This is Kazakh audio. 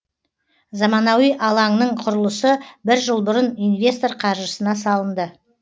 заманауи алаңның құрылысы бір жыл бұрын инвестор қаржысына салынды